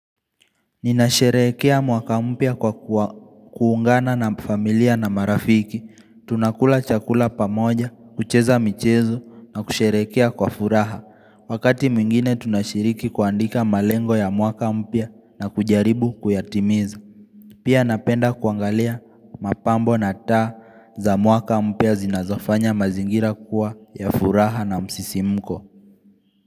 Ninasherehekea mwaka mpya kwa kuungana na familia na marafiki. Tunakula chakula pamoja, kucheza michezo na kusherehekea kwa furaha Wakati mwingine tunashiriki kuandika malengo ya mwaka mpya na kujaribu kuyatimiza Pia napenda kuangalia mapambo na taa za mwaka mpya zinazofanya mazingira kuwa ya furaha na msisimko.